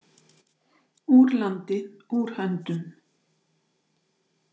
Úr landi, úr höndum.